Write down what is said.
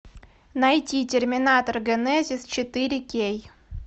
найти терминатор генезис четыре кей